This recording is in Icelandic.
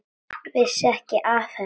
Vissi ekki af henni.